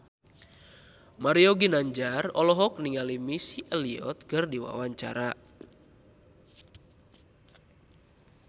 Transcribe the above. Mario Ginanjar olohok ningali Missy Elliott keur diwawancara